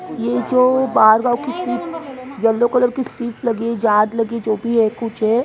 ये जो बार बार सीट येलो कलर की सीट लगी हाथ लगी चोभी है कुछ है।